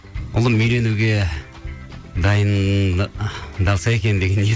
ұлым үйленуге дайындалса екен деген ниет